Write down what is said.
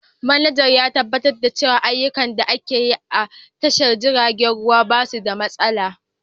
Manajan ya tabbatar da cewa ayyukan da ake yi a tashar jiragen ruwa ba su da matsala.